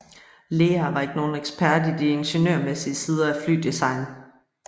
Lear var ikke nogen ekspert i de ingeniørmæssige sider af flydesign